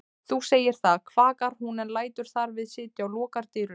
Þú segir það, kvakar hún en lætur þar við sitja og lokar dyrunum.